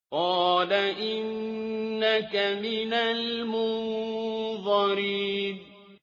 قَالَ إِنَّكَ مِنَ الْمُنظَرِينَ